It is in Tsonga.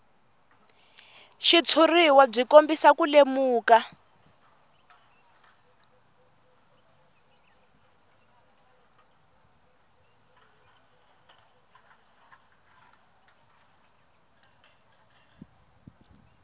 xitshuriwa byi kombisa ku lemuka